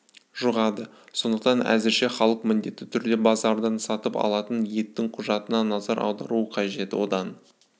жұғады сондықтан әзірше халық міндетті түрде базардан сатып алатын еттің құжатына назар аударуы қажет одан